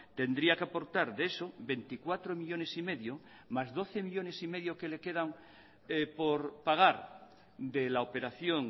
tendría que aportar de eso veinticuatro millónes y medio más doce millónes y medio que le quedan por pagar de la operación